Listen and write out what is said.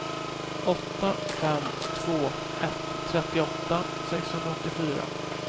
åtta fem två ett trettioåtta sexhundraåttiofyra